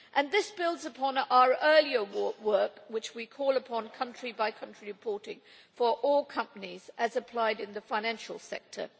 This builds upon our earlier work where we call for country by country reporting for all companies as applied in the financial sector.